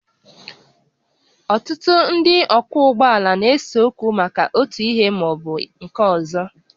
Ọtụtụ ndị ọkwọ ụgbọala na-ese okwu maka otu ihe ma ọ bụ nke ọzọ